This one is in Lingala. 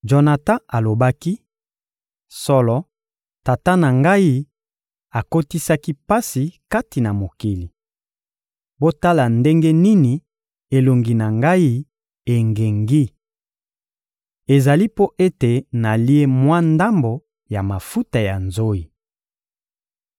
Jonatan alobaki: — Solo, tata na ngai akotisaki pasi kati na mokili. Botala ndenge nini elongi na ngai engengi! Ezali mpo ete nalie mwa ndambo ya mafuta ya nzoyi.